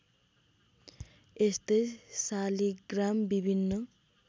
यस्तै शालिग्राम विभिन्न